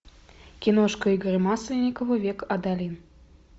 киношка игоря масленникова век адалин